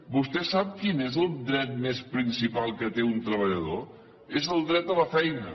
vostè sap quin és el dret més principal que té un treballador és el dret a la feina